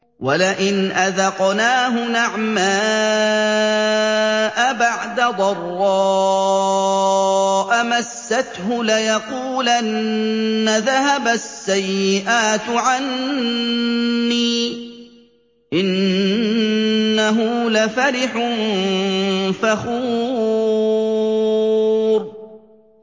وَلَئِنْ أَذَقْنَاهُ نَعْمَاءَ بَعْدَ ضَرَّاءَ مَسَّتْهُ لَيَقُولَنَّ ذَهَبَ السَّيِّئَاتُ عَنِّي ۚ إِنَّهُ لَفَرِحٌ فَخُورٌ